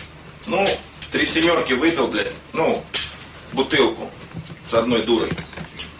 ну три семёрки выдал блять ну бутылку с одной дурой